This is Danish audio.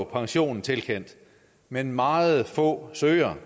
pensionen tilkendt men meget få søger